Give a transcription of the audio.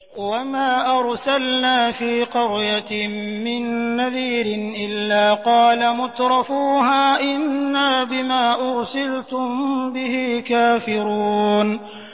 وَمَا أَرْسَلْنَا فِي قَرْيَةٍ مِّن نَّذِيرٍ إِلَّا قَالَ مُتْرَفُوهَا إِنَّا بِمَا أُرْسِلْتُم بِهِ كَافِرُونَ